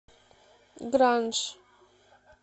гранж